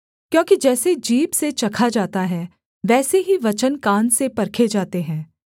क्योंकि जैसे जीभ से चखा जाता है वैसे ही वचन कान से परखे जाते हैं